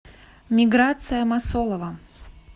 миграция масолова